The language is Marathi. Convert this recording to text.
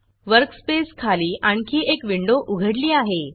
वर्कस्पेस खाली आणखी एक विंडो उघडली आहे